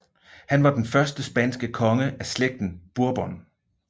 Han var den første spanske konge af Slægten Bourbon